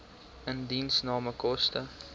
indiensname koste